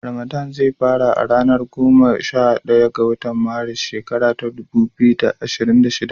Ramadan ze fara a ranar goma sha daya ga watan Maris na shekara ta dubu biyu da ashirin da huɗu.